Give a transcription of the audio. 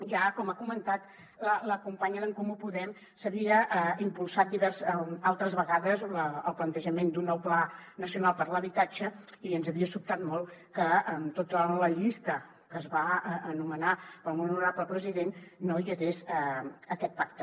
ja com ha comentat la companya d’en comú podem s’havia impulsat altres vegades el plantejament d’un nou pla nacional per l’habitatge i ens havia sobtat molt que en tota la llista que es va anomenar pel molt honorable president no hi hagués aquest pacte